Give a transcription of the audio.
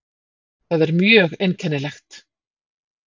Það er mjög einkennilegt.